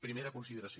primera consideració